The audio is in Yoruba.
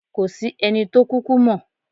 Kò sí ẹni tó kúkú mọ̀.